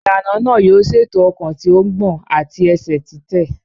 Ìlànà náà yóò ṣètò ọkàn tí ó ń gbọ̀n àti ẹsẹ̀ títẹ̀.